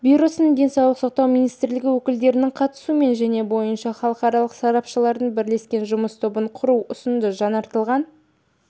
бюросының денсаулық сақтау министрлігі өкілдерініңқатысуымен және бойынша халықаралық сарапшылардың бірлескен жұмыс тобын құру ұсынды жаңартылған